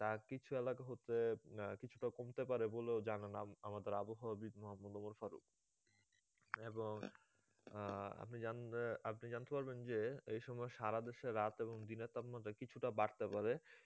আর কিছু এলাকা হতে উম কিছুটা কমতে পারে বলেও জানান আমাদের আবহাওয়াবিদ মোহাম্মদ ওমর ফারুক এবং আহ আপনি জানেন আপনি জানতে পারবেন যে এই সময় সারাদেশে রাত এবং দিনের তাপমাত্রা কিছুটা বাড়তে পারে